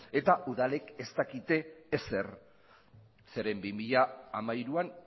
eta udalek ez dakite ezer zeren bi mila hamairuan